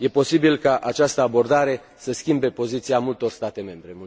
E posibil ca această abordare să schimbe poziția multor state membre.